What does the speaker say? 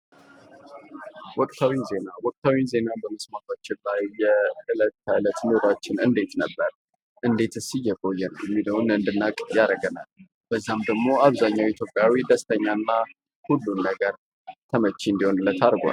ዜና የህብረተሰብን የዕለት ከዕለት እንቅስቃሴዎች፣ አዳዲስ ክስተቶችና ለውጦች እንዲሁም የተለያዩ አስተያየቶች የሚንፀባረቁበት አንገብጋቢ የመገናኛ ዘዴ ነው።